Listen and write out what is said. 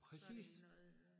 Så det noget øh